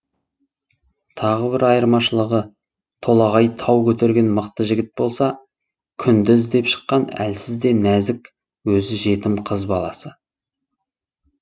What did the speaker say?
тағы бір айырмашылығы толағай тау көтерген мықты жігіт болса күнді іздеп шыққан әлсіз де нәзік өзі жетім қыз баласы